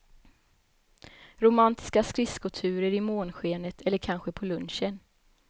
Romantiska skridskoturer i månskenet eller kanske på lunchen.